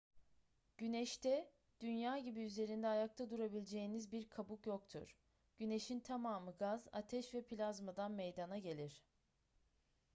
güneşte dünya gibi üzerinde ayakta durabileceğiniz bir kabuk yoktur güneşin tamamı gaz ateş ve plazmadan meydana gelir